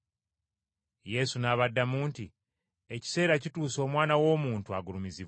Yesu n’abaddamu nti, “Ekiseera kituuse Omwana w’Omuntu agulumizibwe.